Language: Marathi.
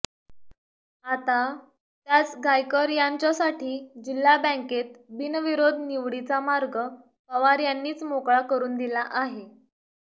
आता त्याच गायकर यांच्यासाठी जिल्हा बँकेत बिनविरोध निवडीचा मार्ग पवार यांनीच मोकळा करून दिला आहे